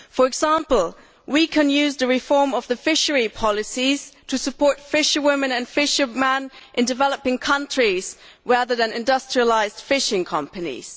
For example, we can use the reform of the fisheries policy to support fisherwomen and fishermen in developing countries rather than industrialised fishing companies.